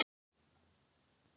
Mér er bara orðið skítkalt.